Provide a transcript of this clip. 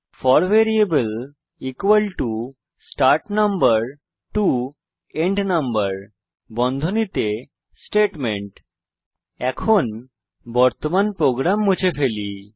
four variable start number to end number Statement এখন বর্তমান program মুছে ফেলি